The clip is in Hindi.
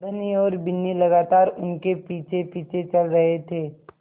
धनी और बिन्नी लगातार उनके पीछेपीछे चल रहे थे